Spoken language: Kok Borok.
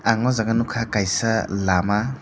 ang o jaga nogkha kaisa lama.